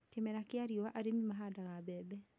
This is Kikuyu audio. Kĩmera kĩa riũa arĩmi mahandaga mbebe